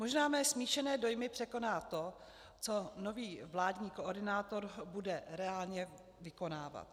Možná mé smíšené dojmy překoná to, co nový vládní koordinátor bude reálně vykonávat.